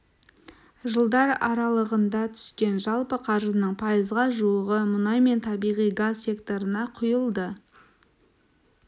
жылдар аралығында түскен жалпы қаржының пайызға жуығы мұнай мен табиғи газ секторына құйылды